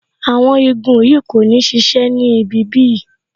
Awon igun yìí kò ní sise ni ibi bí yìí